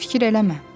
Fikir eləmə.